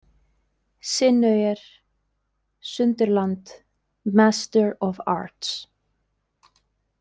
Sinauer, Sunderland, Master of Arts.